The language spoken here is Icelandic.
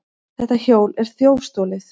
Þetta hjól er þjófstolið!